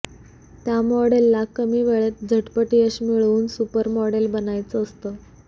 त्या मॉडेलला कमी वेळेत झटपट यश मिळवून सुपर मॉडेल बनायचं असतं